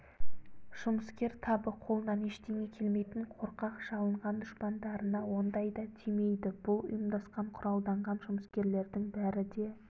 жұмыскер табы қолынан ештеңе келмейтін қорқақ жалынған дұшпандарына ондайда тимейді бұл ұйымдасқан құралданған жұмыскерлердің бәрі де